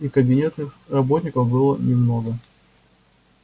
и кабинетных работников было много